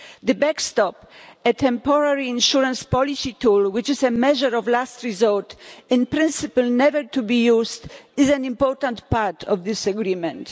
The backstop, a temporary insurance policy tool, which is a measure of last resort, in principle never to be used, is an important part of this agreement.